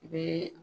I bɛ